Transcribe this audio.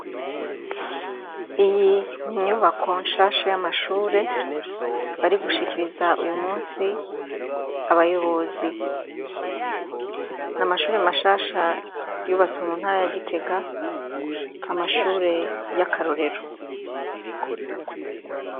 Inyubako nshasha y'amashure ,barigushikiriza uyumunsi abayobozi, n'amashure mashasha yubatswe muntara ya Gitega ,amashure y'akarorero.